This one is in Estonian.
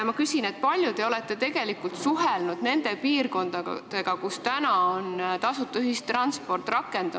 Kui palju te olete suhelnud nende piirkondadega, kus tasuta ühistransport on rakendunud?